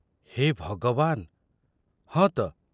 ହେ ଭଗବାନ, ହଁ ତ!